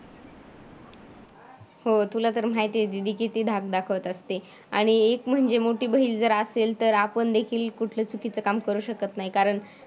हो तुला तर माहिती आहे दीदी कीती धाक दाखवत असते. आणि एक म्हणजे मोठी बहीण जर असेल तर आपण देखील कुठलं चुकीचं काम करू शकत नाही कारण